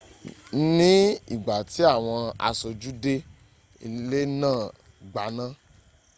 ní ìgbà tí àwọn aṣojú dé ilé náà gbaná